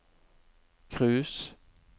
cruise